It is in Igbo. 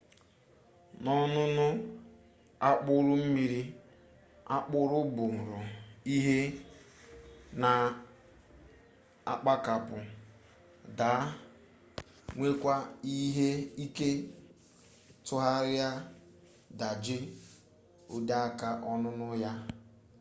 n'ọnụnụ akpụrụ mmiri akpụrụ buru ibu na-agbakapụ daa nwekwaa ike tụgharịa daje oteaka ọnụnụ ya